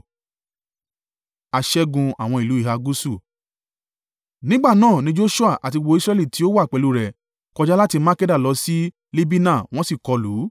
Nígbà náà ní Joṣua àti gbogbo Israẹli tí ó wà pẹ̀lú rẹ̀ kọjá láti Makkeda lọ sí Libina wọ́n sì kọlù ú.